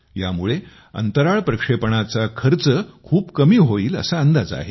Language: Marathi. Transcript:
यामुळे अंतराळ प्रक्षेपणाचा खर्च खूप कमी होईल असा अंदाज आहे